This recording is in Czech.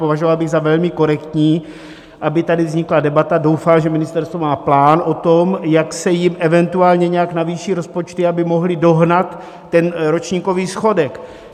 Považoval bych za velmi korektní, aby tady vznikla debata - doufám, že ministerstvo má plán o tom, jak se jim eventuálně nějak navýší rozpočty, aby mohly dohnat ten ročníkový schodek.